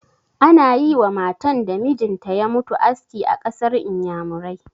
Ana yi wa matan da mijin ta ya mutu aski a ƙasar Inyamurai.